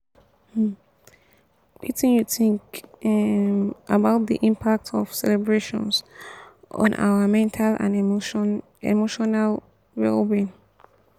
um wetin you think um about di impact of celebrations on our mental and emotional um well-being?